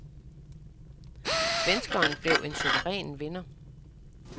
Svenskeren blev en suveræn vinder.